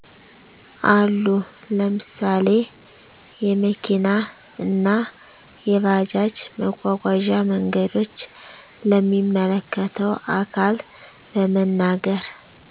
አሉ። ለምሳሌ የመኪና እና የባጃጅ መጓጓዣ መንገዶች። ለሚመለከተው አካል በመናገር